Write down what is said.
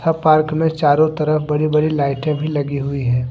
Park में चारो तरफ बड़ी बड़ी लाइटे भी लगी हुई हैं।